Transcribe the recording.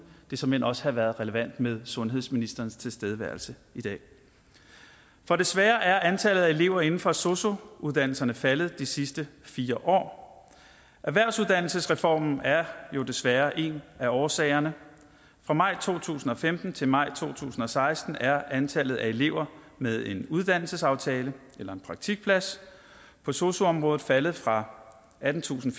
det såmænd også have været relevant med sundhedsministerens tilstedeværelse i dag for desværre er antallet af elever inden for sosu uddannelserne faldet de sidste fire år erhvervsuddannelsesreformen er jo desværre en af årsagerne fra maj to tusind og femten til maj to tusind og seksten er antallet af elever med en uddannelsesaftale eller en praktikplads på sosu området faldet fra attentusinde